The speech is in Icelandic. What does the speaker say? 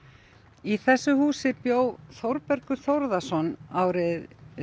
í þessu húsi bjó Þórbergur Þórðarson árið